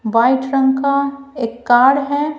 White रंग का एक कार्ड है।